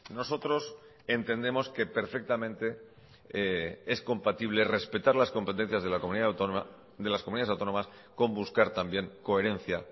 nosotros entendemos que perfectamente es compatible respetar las competencias de la comunidad autónoma de las comunidades autónomas con buscar también coherencia